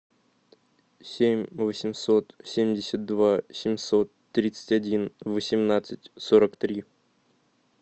семь восемьсот семьдесят два семьсот тридцать один восемнадцать сорок три